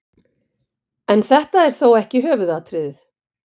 En þetta er þó ekki höfuðatriðið.